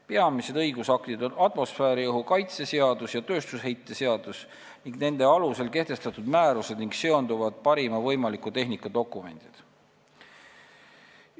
Peamised õigusaktid on atmosfääriõhu kaitse seadus ja tööstusheite seadus ning nende alusel kehtestatud määrused ja seonduvad parima võimaliku tehnika dokumendid.